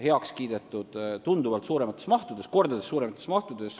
Seal on kordades suuremas mahus metsateatisi heaks kiidetud.